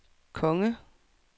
konge